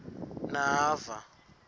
nava